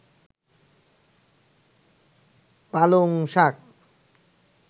পালংশাক